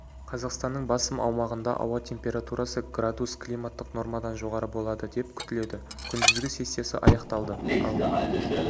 қазақстанның басым аумағында ауа температурасы градус климаттық нормадан жоғары болады деп күтіледі күндізгі сессиясы аяқталды ал